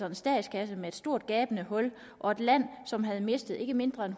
en statskasse med et stort gabende hul og et land som havde mistet ikke mindre end